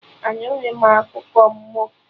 Anughi m akụkọ mmụọ